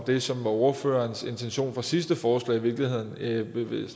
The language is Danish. det som var ordførerens intention det sidste forslag i virkeligheden ville